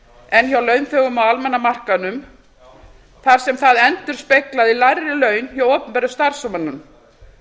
en hjá launþegum á almenna markaðnum þar sem það endurspeglaði lægri laun hjá opinberum starfsmönnum